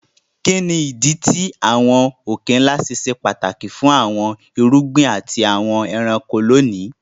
Kí ni ìdí tí àwọn òkè-ńlá ṣe ṣe pàtàkì fún àwọn irúgbìn àti àwọn ẹranko lónìí?